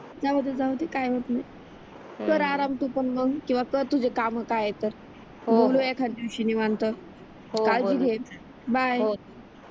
कर आराम तू पण मग किंवा कर तुझे काम काय आहेत तर काळजी घे हो बाय